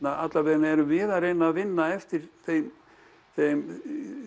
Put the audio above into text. alla vega erum við að reyna að vinna eftir þeim þeim